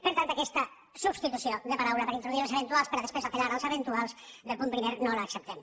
per tant aquesta substitució de paraula per a introduir els eventuals per a després apel·lar als eventuals del punt primer no l’acceptem